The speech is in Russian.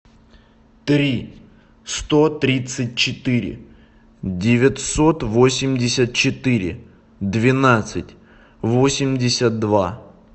три сто тридцать четыре девятьсот восемьдесят четыре двенадцать восемьдесят два